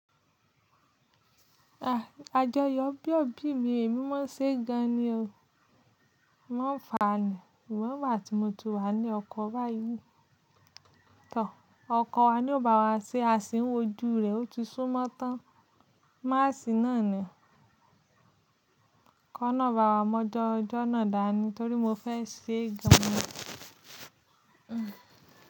A jọ yọ ijobi mi, emi ma ṣe gan ni o. Ng ó fàá ni, Ṣùgbọ́n ńgbà tí mo ti wà ńlé ọkọ báyìí. Tọ̀, ọkọ wa ni ó bá wa ṣe, a sì ń wojú rẹ̀. Ó ti súnmọ́ tán, máàsì náà ni. K'ọ́lọ́run bá wa mọ́ ọjọ́ ojó náà dáa ni torí mo fẹ́ ṣe gan ni.